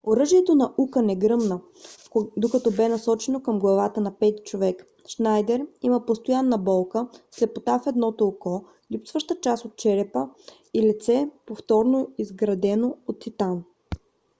оръжието на ука не гръмна докато бе насочено към главата на пети човек. шнайдер има постоянна болка слепота в едното око липсваща част от черепа и лице повторно изградено от титан